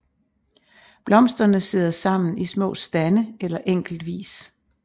Blomsterne sidder sammen i små stande eller enkeltvis